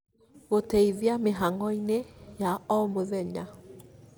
gũteithia mĩhang'o-inĩ ya o mũthenya